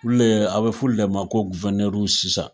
Olu de , ye a bɛ fɔ olu de ma ko guwɛrinɛriw sisan.